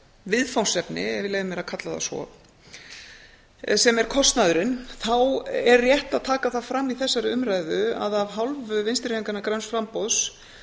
viðfangsefni ef ég leyfi mér að kalla það svo sem er kostnaðurinn þá er rétt að taka það fram í þessari umræðu að af hálfu vinstri hreyfingarinnar græns framboðs